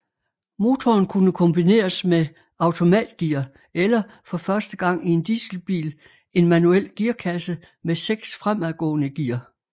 Motoren kunne kombineres med automatgear eller for første gang i en dieselbil en manuel gearkasse med seks fremadgående gear